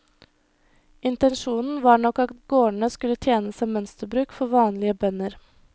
Intensjonen var nok at gårdene skulle tjene som mønsterbruk for vanlige bønder.